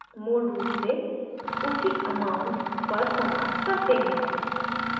मूल रूप से उसी amount पर समाप्त करते हैं